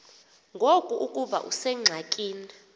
ngoku ukuba usengxakini